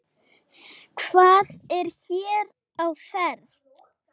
Hvað er hér á ferð?